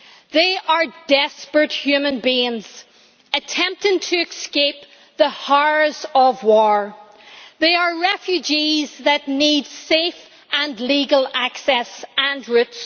They are desperate human beings attempting to escape the horrors of war. They are refugees that need safe and legal access and routes.